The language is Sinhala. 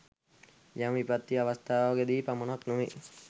යම් විපත්ති අවස්ථාවක දී පමණක්ම නොවේ.